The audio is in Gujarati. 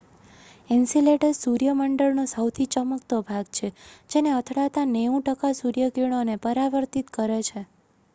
એન્સીલેડસ સૂર્ય મંડળનો સહુથી ચમકતો ભાગ છે જે તેને અથડાતા 90 ટકા સૂર્યકિરણોને પરાવર્તિત કરે છે